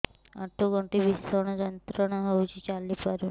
ଆଣ୍ଠୁ ଗଣ୍ଠି ଭିଷଣ ଯନ୍ତ୍ରଣା ହଉଛି ଚାଲି ପାରୁନି